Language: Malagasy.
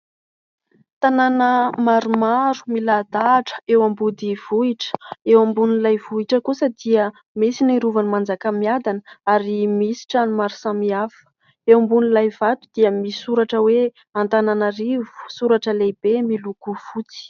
Tanàna maromaro milahadahatra eo am-body vohitra, eo ambon'ilay vohitra kosa dia misy ny Rovan'ny Manjakamiadana ary misy trano maro samihafa, eo ambonin'ilay vato dia misy soratra hoe : Antananarivo soratra lehibe miloko fotsy.